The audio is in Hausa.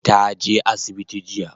Ta je asibiti jiya